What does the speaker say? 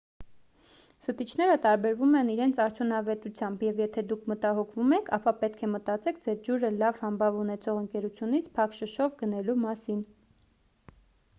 զտիչները տարբերվում են իրենց արդյունավետությամբ և եթե դուք մտահոգվում եք ապա պետք է մտածեք ձեր ջուրը լավ համբավ ունեցող ընկերությունից փակ շշով գնելու մասին